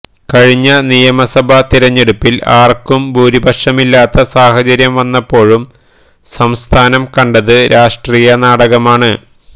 കഴിഞ്ഞ നിയമസഭാതിരഞ്ഞെടുപ്പില് ആര്ക്കും ഭൂരിപക്ഷമില്ലാത്ത സാഹചര്യം വന്നപ്പോഴും സംസ്ഥാനം കണ്ടത് രാഷ്ട്രീയനാടകമാണ്